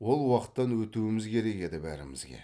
ол уақыттан өтуіміз керек еді бәрімізге